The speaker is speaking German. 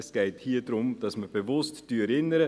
Es geht hier darum, dass wir bewusst erinnern.